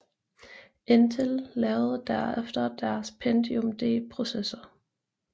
Intel lavede derefter deres Pentium D processor